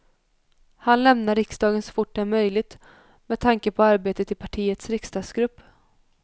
Han lämnar riksdagen så fort det är möjligt med tanke på arbetet i partiets riksdagsgrupp.